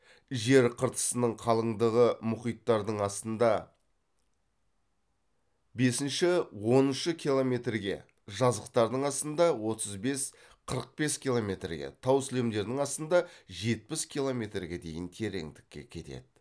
жер қыртысының қалыңдығы мұхиттардын астында бесінші оныншы километрге жазықтардың астында отыз бес қырық бес километрге тау сілемдерінің астында жетпіс километрге дейін тереңдікке кетеді